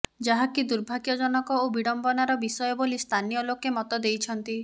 ଯାହାକି ଦୁର୍ଭାଗ୍ୟଜନକ ଓ ବିଡମ୍ବନାର ବିଷୟ ବୋଲି ସ୍ଥାନୀୟ ଲୋକେ ମତ ଦେଇଛନ୍ତି